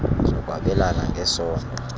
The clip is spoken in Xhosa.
zokwabelana ng esondo